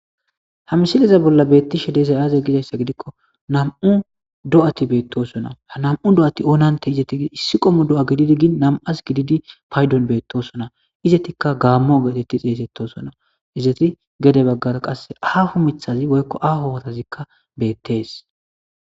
Ha misiliza bolla beettishe dezayaaze gizayssa gidikko nam7u do7ati beettosona ha nam7u do7ati oonante izeti gi issi qommo do7a gididi gin nam7as gididi paydon beettosona izetikka gaammo geetetti xeeysettosona izeti gede baggara qasse aafu mithazi woykko afo wotazikka beettees.